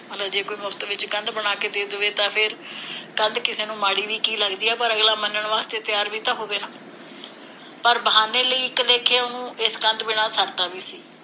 ਮਤਲਬ ਜੇ ਕੋਈ ਮੁਫ਼ਤ ਚ ਕਿਸੇ ਨੂੰ ਕੰਧ ਬਣਾ ਕੇ ਦੇ ਦਵੇ ਤਾਂ ਫੇਰ ਕੰਧ ਕਿਸੇ ਨੂੰ ਮਾੜੀ ਵੀ ਕਿ ਲਗਦੀ ਹੈ, ਪਰ ਅਗਲਾ ਮੰਨਣ ਵਾਸਤੇ ਤਿਆਰ ਵੀ ਤਾਂ ਹੋਵੇ ਨਾ ਪਰ ਬਹਾਨੇ ਲਈ, ਇਕ ਲੇਖੇ, ਉਹਨੂੰ ਇਸ ਕੰਧ ਬਿਨਾ ਸਰਦਾ ਵੀ ਸੀ।